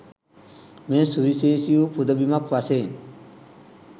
මෙය සුවිශේෂී වූ පුද බිමක් වශයෙන්